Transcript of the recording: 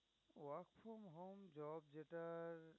যেটার